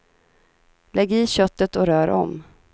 Lägg i köttet och rör om.